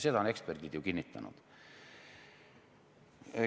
Seda on eksperdid ju kinnitanud.